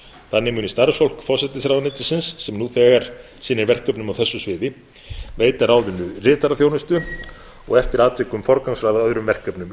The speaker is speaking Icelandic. þannig muni starfsfólk forsætisráðuneytisins sem nú þegar sinnir verkefnum á þessu sviði veita ráðinu ritaraþjónustu og eftir atvikum forgangsraða öðrum verkefnum í